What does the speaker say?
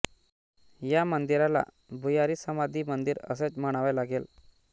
या मंदिराला भुयारी समाधी मंदिर असेच म्हणावे लागेल